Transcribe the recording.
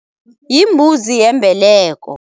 Yimbuzi yembeleko.